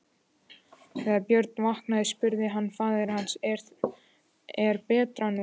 Þegar Björn vaknaði spurði faðir hans:-Er betra nú?